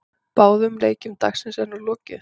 Báðum leikjum dagsins er nú lokið.